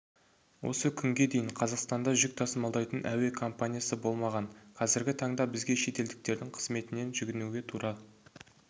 осы күнге дейін қазақстанда жүк тасымалдайтын әуе компаниясы болмаған қазіргі таңда бізге шетелдіктердің қызметіне жүгінуге тура